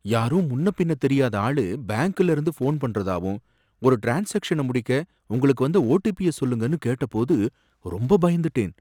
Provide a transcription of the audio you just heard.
யாரோ முன்னபின்ன தெரியாத ஆளு பேங்க்லேருந்து போன் பண்றதாவும் ஒரு ட்ரான்ஸாக்ஷன முடிக்க உங்களுக்கு வந்த ஓடிபிய சொல்லுங்கன்னு கேட்டபோது ரொம்ப பயந்துட்டேன்.